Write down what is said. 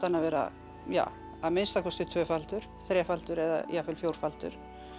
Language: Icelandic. að vera að minnsta kosti tvöfaldur þrefaldur eða jafnvel fjórfaldur